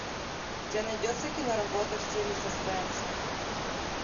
у тебя найдется киноработа в стиле саспенса